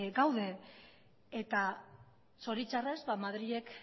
gaude eta zori txarrez madrilek